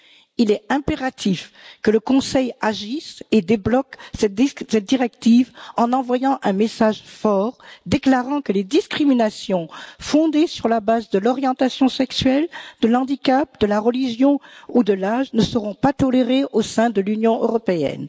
Il est impératif que le Conseil agisse et débloque cette directive en envoyant un message fort déclarant que les discriminations fondées sur la base de l'orientation sexuelle, du handicap, de la religion ou de l'âge, ne seront pas tolérées au sein de l'Union européenne.